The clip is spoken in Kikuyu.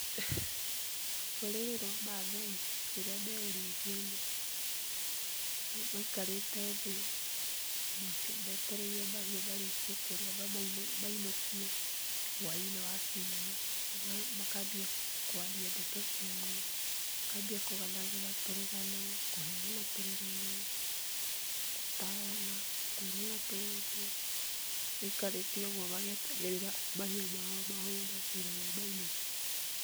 Rũrĩrĩ rwa maathai rĩrĩa me ũrĩithia-inĩ, maikarĩte thĩ, metereire mahiũ marĩkie kũrĩa mamainũkie, hwaĩ-inĩ wakinya, makambia kwaria ndeto ciao, makambia kũgananĩra tũrũgano, kũheana tũrũgano, gũtarana, kwĩrana tũũndũ, maikarĩte ũguo magĩetagĩrĩra mahiũ mao mahũne, nĩgetha mamainũkie.